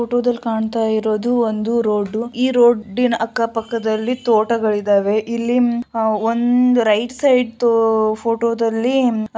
ಫೋಟೋದಲ್ಲಿ ಕಾಣ್ತಾ ಇರೋದು ಒಂದು ರೋಡ್ ಈ ರೋಡಿನ್ ಅಕ್ಕ ಪಕ್ಕದಲ್ಲಿ ತೋಟಗಳಿದಾವೆ. ಇಲ್ಲಿ ಒಂದ್ ರೈಟ್ ಸೈಡ್ ಫೋಟೋದಲ್ಲಿ --